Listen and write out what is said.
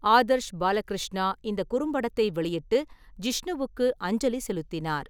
ஆதர்ஷ் பாலகிருஷ்ணா இந்த குறும்படத்தை வெளியிட்டு ஜிஷ்ணுவுக்கு அஞ்சலி செலுத்தினார்.